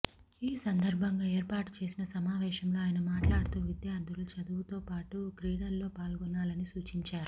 ఈ సందర్భంగా ఏర్పాటు చేసిన సమావేశంలో ఆయన మాట్లాడుతూ విద్యార్థులు చదువుతోపాటు క్రీడల్లో పాల్గొనాలని సూచించారు